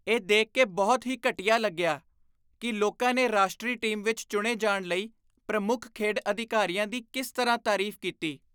ਇਹ ਦੇਖ ਕੇ ਬਹੁਤ ਹੀ ਘਟੀਆ ਲੱਗਿਆ ਕਿ ਲੋਕਾਂ ਨੇ ਰਾਸ਼ਟਰੀ ਟੀਮ ਵਿੱਚ ਚੁਣੇ ਜਾਣ ਲਈ ਪ੍ਰਮੁੱਖ ਖੇਡ ਅਧਿਕਾਰੀਆਂ ਦੀ ਕਿਸ ਤਰ੍ਹਾਂ ਤਾਰੀਫ਼ ਕੀਤੀ।